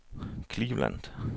Cleveland